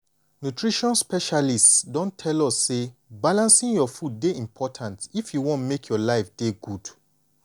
nutrition specialists don tell us say balancing your food dey important if you want make your life dey good.